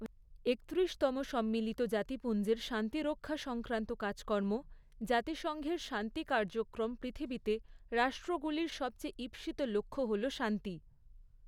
একত্রিশতম সম্মিলিত জাতিপুঞ্জের শান্তিরক্ষা সংক্রান্ত কাজকর্ম জাতিসংঘের শান্তি কার্যক্রম পৃথিবীতে রাষ্ট্রগুলির সবচেয়ে ঈপ্সিত লক্ষ্য হল শান্তি।